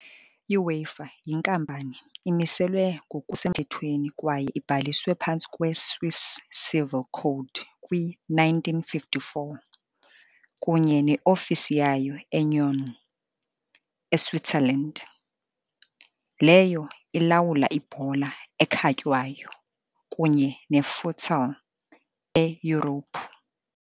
UEFA, yinkampani, imiselwe ngokusemthethweni kwaye ibhaliswe phantsi kwe-Swiss Civil Code kwi-1954, kunye ne-ofisi yayo eNyon, eSwitzerland, leyo ilawula ibhola ekhatywayo kunye ne-futsal eYurophu .